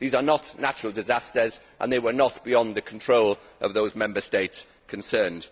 These are not natural disasters and they were not beyond the control of the Member States concerned.